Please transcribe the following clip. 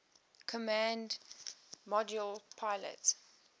command module pilot